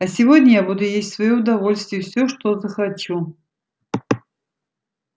а сегодня я буду есть в своё удовольствие всё что захочу